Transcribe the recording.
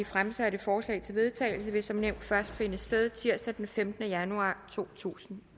fremsatte forslag til vedtagelse vil som nævnt først finde sted tirsdag den femtende januar totusinde